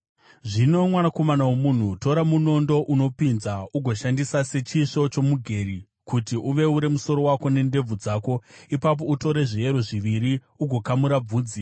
“Zvino, Mwanakomana womunhu, tora munondo unopinza ugoushandisa sechisvo chomugeri kuti uveure musoro wako nendebvu dzako. Ipapo utore zviyero zviviri ugokamura bvudzi.